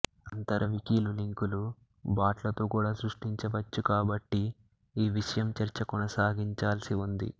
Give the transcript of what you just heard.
అంతర వికీలు లింకులు బాట్లతో కూడా సృష్టించవచ్చి కాబట్టి ఈ విషయం చర్చ కొనసాగించాల్సి ఉంది